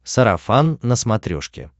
сарафан на смотрешке